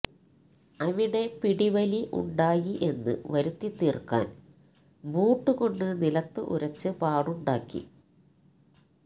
അവിടെ പിടിവലി ഉണ്ടായി എന്ന് വരുത്തി തീർക്കാൻ ബൂട്ടുകൊണ്ട് നിലത്ത് ഉരച്ച് പാടുണ്ടാക്കി